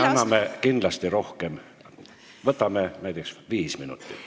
Me anname kindlasti rohkem, näiteks viis minutit.